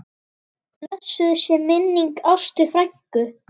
Blessuð sé minning Ástu frænku.